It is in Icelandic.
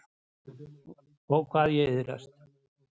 Ó, hvað ég iðraðist.